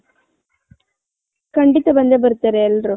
ಕಂಡಿತ ಬಂದೆ ಬರ್ತಾರೆ ಎಲ್ಲರು .